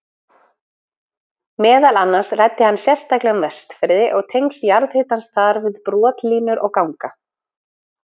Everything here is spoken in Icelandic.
Meðal annars ræddi hann sérstaklega um Vestfirði og tengsl jarðhitans þar við brotlínur og ganga.